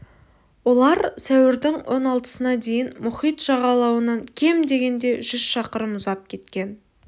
олар сәуірдің он алтысына дейін мұхит жағалауынан кем дегенде жүз шақырым ұзап кеткен